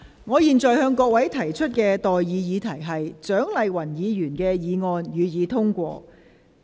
我現在向各位提出的待議議題是：蔣麗芸議員動議的議案，予以通過。